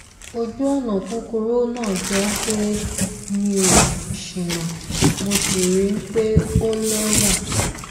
ojùọnà kúkúrú náà jọ pé mi ò ṣìnà mo sì ríi pé ó lẹwà